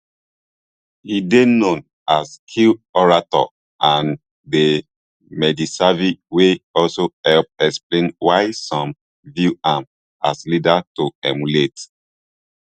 e dey known as skilled orator and dey mediasavvy wey also help explain why some view am as leader to emulate